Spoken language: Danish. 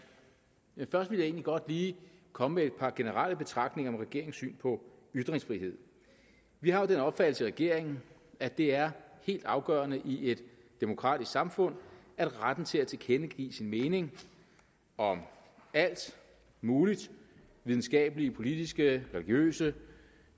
jeg egentlig godt lige komme med et par generelle betragtninger om regeringens syn på ytringsfrihed vi har den opfattelse i regeringen at det er helt afgørende i et demokratisk samfund at retten til at tilkendegive sin mening om alt muligt videnskabelige politiske religiøse